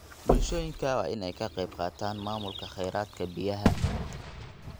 Bulshooyinka waa in ay ka qayb qaataan maamulka kheyraadka biyaha.